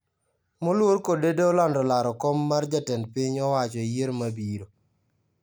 Moluor Kodede olando laro kom mar jatend piny owacho e yiero mabiro